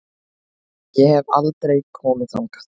Ég hef aldrei komið þangað.